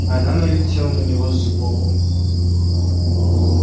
она налетела на него сбоку